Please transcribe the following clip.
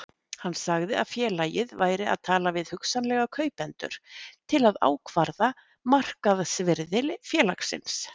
Hann sagði að félagið væri að tala við hugsanlega kaupendur til að ákvarða markaðsvirði félagsins.